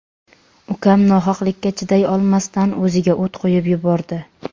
Ukam nohaqlikka chiday olmasdan o‘ziga o‘t qo‘yib yubordi.